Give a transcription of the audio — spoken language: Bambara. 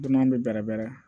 Dunan bɛ bɛrɛ bɛrɛ